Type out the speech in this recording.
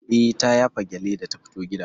Eh ta yafa gyalle da ta fito gida.